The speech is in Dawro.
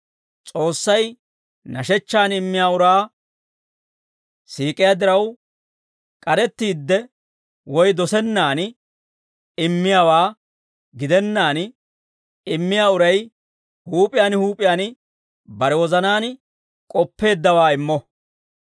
S'oossay nashechchan immiyaa uraa siik'iyaa diraw, k'arettiidde woy dosennan immiyaawaa gidennaan, immiyaa uray huup'iyaan huup'iyaan bare wozanaan k'oppeeddawaa immo.